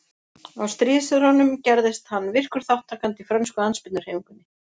Á stríðsárunum gerðist hann virkur þátttakandi í frönsku andspyrnuhreyfingunni.